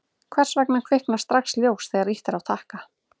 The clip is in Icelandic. hvers vegna kviknar strax ljós þegar ýtt er á takka